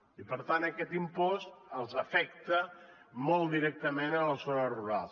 i per tant aquest impost els afecta molt directament a les zones rurals